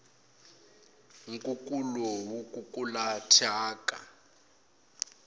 nkukulu wu kukula thyaka